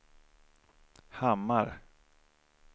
Hammar